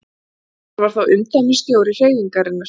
Hann var þá umdæmisstjóri hreyfingarinnar.